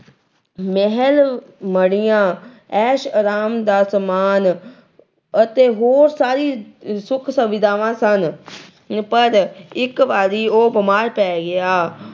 ਮਹਿਲ ਮੜੀਆਂ, ਐਸ਼ ਆਰਾਮ ਦਾ ਸਮਾਨ ਅਤੇ ਹੋਰ ਸਾਰੀ ਸੁੱਖ ਸੁਵਿਧਾਵਾਂ ਸਨ। ਪਰ ਇੱਕ ਵਾਰੀ ਉਹ ਬੀਮਾਰ ਪੈ ਗਿਆ।